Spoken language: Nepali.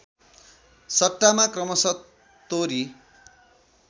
सट्टामा क्रमशः तोरी